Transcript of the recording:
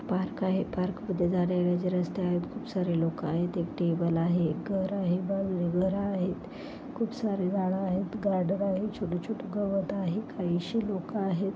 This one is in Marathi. पार्क आहे पार्क मध्ये जाण्या येण्याचे रस्ते आहेत खूप सारे लोक आहेत एक टेबल आहे एक घर आहे खूप सारे झाडे आहेत गार्डन आहे छोटी-छोटी गवत आहे काहिशी लोक आहे.